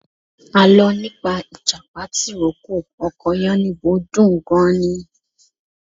Alọ́ nípa ìjàpá tìrókò ọkọ Yánníbo dùn gan-an ni.